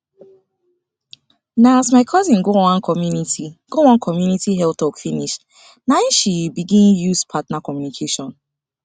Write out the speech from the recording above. na as my cousin go one community go one community health talk finish na em she begin use partner communication